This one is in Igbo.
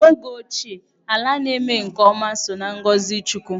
N'oge ochie, ala na-eme nke ọma so na ngọzị chukwu.